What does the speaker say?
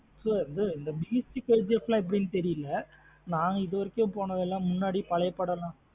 இந்த Beast KGF லாம் எப்டின்னு தெரியலா நாங்க இது வரைக்கும் போனது எல்லாம் முன்னாடி பழைய படம் தா